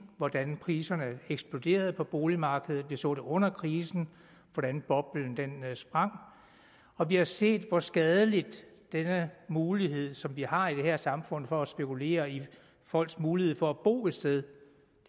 hvordan priserne eksploderede på boligmarkedet vi så under krisen hvordan boblen sprang og vi har set hvor skadelig denne mulighed som vi har i det her samfund for at spekulere i folks mulighed for at bo et sted